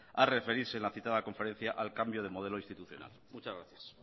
a referirse en la citada conferencia al cambio de modelo institucional muchas gracias